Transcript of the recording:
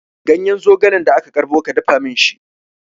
Ganyen zogalen da ka karɓo, ka dafa min shi!